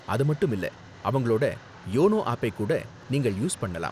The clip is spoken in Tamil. அது மட்டும் இல்ல, அவங்களோட யோனோ ஆப்பை கூட நீங்கள் யூஸ் பண்ணலாம்.